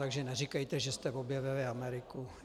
Takže neříkejte, že jste objevili Ameriku.